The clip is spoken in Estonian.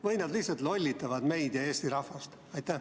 Või nad lihtsalt lollitavad meid ja Eesti rahvast?